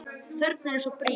Þörfin er svo brýn.